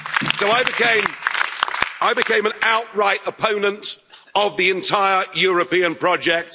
So I became an outright opponent of the entire European project.